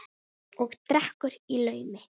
Og drekkur í laumi.